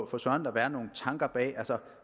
for søren da være nogle tanker bag